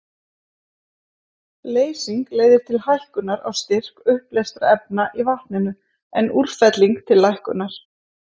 Leysing leiðir til hækkunar á styrk uppleystra efna í vatninu, en útfelling til lækkunar.